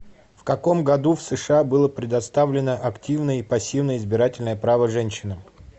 в каком году в сша было предоставлено активное и пассивное избирательное право женщинам